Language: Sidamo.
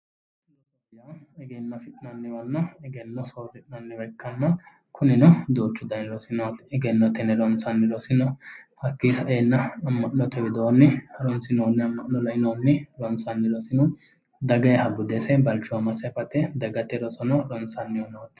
Rosu egenno afi'nanniwa ikkanna kunino duuchu danni rosi noo yaate, egennoteni ronsanni rosi no, hattono ama'note widooni harunsoni ronsanni rosi no, dagaha bude balchoomase agadhate dagate rosi no.